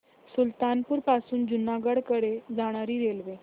सुल्तानपुर पासून जुनागढ कडे जाणारी रेल्वे